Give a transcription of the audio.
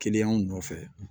nɔfɛ